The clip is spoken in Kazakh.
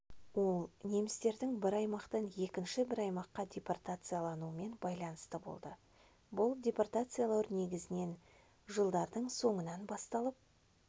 ол немістердің бір аймақтан екінші бір аймаққа депортациялаумен байланысты болды бұл депортациялау негізінен жылдардың соңынан басталып